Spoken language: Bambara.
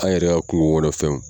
An yɛrɛ ka kungo kɔnɔn fɛnw.